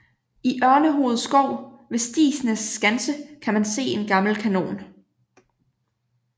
I Ørnehoved Skov ved Stigsnæs Skanse kan man se en gammel kanon